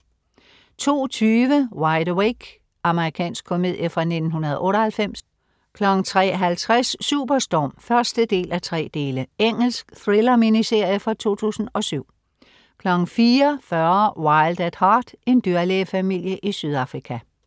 02.20 Wide Awake. Amerikansk komedie fra 1998 03.50 Superstorm 1:3. Engelsk thriller-miniserie fra 2007 04.40 Wild at Heart. En dyrlægefamilie i Sydafrika